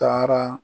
Taara